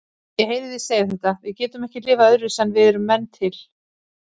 Ég heyri þig segja þetta: Við getum ekki lifað öðruvísi en við erum menn til